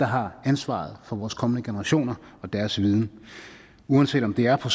har ansvaret for vores kommende generationer og deres viden uanset om det er på